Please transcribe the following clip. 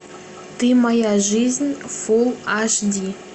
ты моя жизнь фулл аш ди